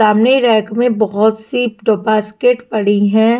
सामने रैक में बहुत सी टो बास्केट पड़ी हैं।